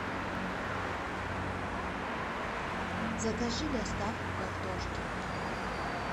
закажи доставку картошки